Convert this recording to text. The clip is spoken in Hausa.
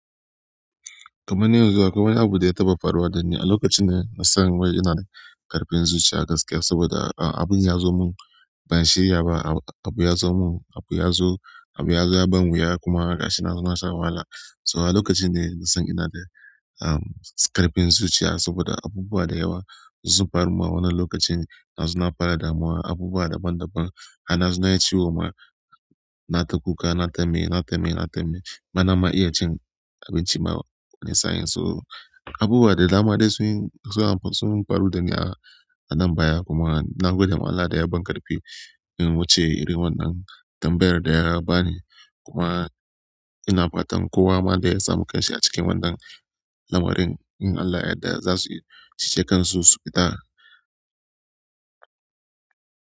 Kamar yanzu akwai wani abu da ya taɓa faruwa da ni, a lokaci na nisan waya ina da ƙarfin zuciya gaskiya saboda ah abun ya zo mun ban shiryawa ba, abu ya zo mun, abu ya zo, abu ya zo ya ban yuwa kuma gashi na zo na sha wahala. So a lokacin ne na san ina da um ƙarfin zuciya saboda abubuwa da yawa sun faru ma wannan lokacin na zo na fara damuwa abubuwa daban-daban. Har na zo nayi ciwo ma, na ta kuka, na ta mai, na ta mai, na ta mai bana ma iya cin abinci ma wani sayin so abubuwa da na ma dai sun, suna sun faru da ni a nan baya kuma na gode ma Allah da ya ban ƙarfi in wuce irin wannan tambayar da ya bani kuma ina fatan kowa ma da ya samu ƙashi a cikin wannan lamarin in Allah yadda za su yi, ci ce kan su su fita.